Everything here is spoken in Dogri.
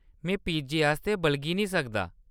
में पिज्जे आस्तै बलगी नेईं सकदा।